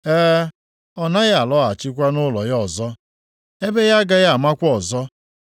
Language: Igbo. E, ọ naghị alọghachikwa nʼụlọ ya ọzọ; ebe ya agaghị amakwa ya ọzọ.